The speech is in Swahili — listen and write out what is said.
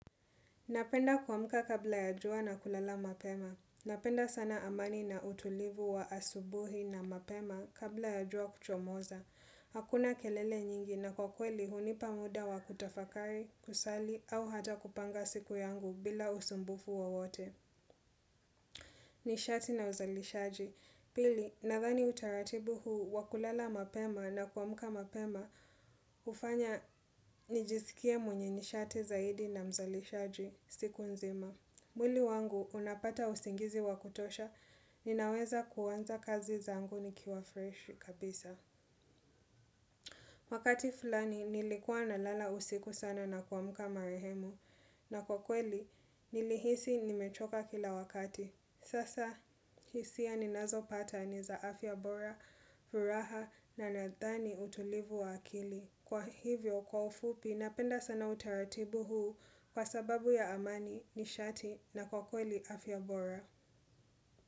Napenda kuamuka kabla ya jua na kulala mapema. Napenda sana amani na utulivu wa asubuhi na mapema kabla ya jua kuchomoza. Hakuna kelele nyingi na kwa kweli hunipa muda wa kutafakari, kusali, au hata kupanga siku yangu bila usumbufu wa wote. Nishati na uzalishaji. Pili, nadhani utaratibu huu wa kulala mapema na kuamka mapema hufanya najiisikiw mwenye nishati zaidi na mzalishaji siku nzima. Mwili wangu unapata usingizi wakutosha, ninaweza kuwanza kazi zangu nikiwa freshi kabisa. Wakati fulani nilikua na lala usiku sana na kuamuka marehemu, na kwa kweli nilihisi nimechoka kila wakati. Sasa hisia ninazo pata ni za afta bora, furaha na nadhani utulivu wa akili. Kwa hivyo, kwa ufupi, napenda sana utaratibu huu kwa sababu ya amani, nishati na kwa kweli afyabora.